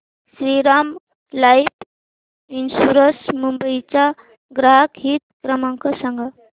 Shriram life insurance Mumbai चा ग्राहक हित क्रमांक सांगा